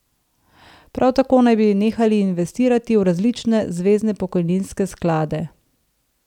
Prav tako naj bi nehali investirati v različne zvezne pokojninske sklade.